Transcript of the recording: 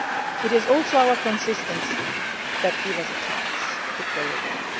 It is also our consistency that gives us a chance to play a role.